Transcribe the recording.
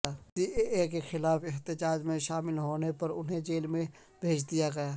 C A A کیخلاف احتجاج میں شامل ہونے پر انہیں جیل بھیج دیا گیا